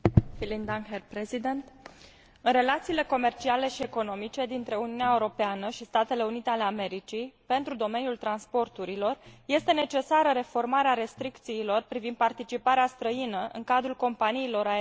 În relațiile comerciale și economice dintre Uniunea Europeană și Statele Unite ale Americii în domeniul transporturilor este necesară reformarea restricțiilor privind participarea străină în cadrul companiilor aeriene din Statele Unite ale Americii.